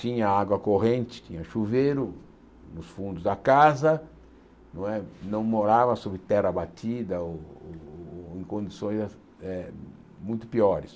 Tinha água corrente, tinha chuveiro nos fundos da casa, não é não morava sobre terra abatida ou ou em condições eh muito piores.